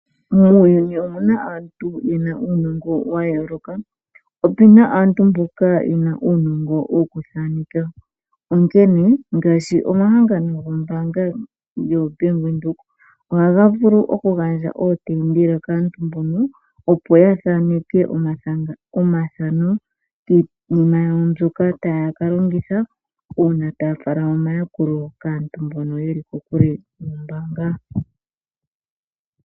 Muuyuni omuna aantu ye na uunongo wa yooloka. Ope na aantu mboka ye na uunongo wokuthaaneka. Onkene ngaashi omahangano gombaanga yoBank Windhoek ohaga vulu oku gandja ootendela kaantu mbono opo ya thaaneke omathano giinima yawo mbyoka taya ka longitha uuna taya fala omayakulo kaantu mbono yeli kokule nombaanga.